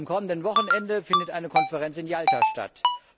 Am kommenden Wochenende findet eine Konferenz in Jalta statt.